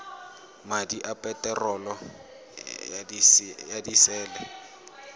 madi a peterolo ya disele